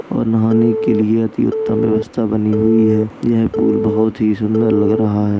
और नहाने के लिए अति उत्तम व्यवस्था बनी हुई है यह पूल बहोत ही सुन्दर लग रहा है।